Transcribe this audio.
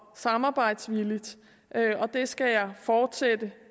samarbejdsvilligt det skal jeg fortsætte